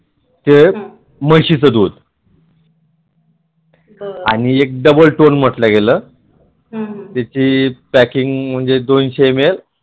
ते म्हशीच दूध आणि एक double toll म्हटल गेल त्याची पॅकिंग म्हणजे दोनशे ml ते म्हशीचे दूध